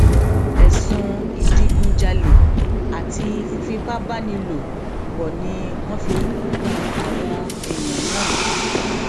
ẹsùn ìdígunjalè àti fífipá bá ní lò pọ ni wọn fi kan àwọn èèyàn náà